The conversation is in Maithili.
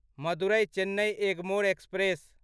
मदुरै चेन्नई एगमोर एक्सप्रेस